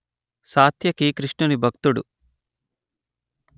సాత్యకి కృష్ణుని భక్తుడు